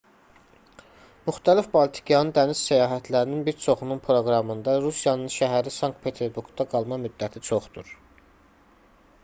müxtəlif baltikyanı dəniz səyahətlərinin bir çoxunun proqramında rusiyanın şəhəri sankt-peterburqda qalma müddəti çoxdur